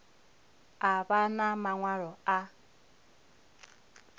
a vha na maṅwalo a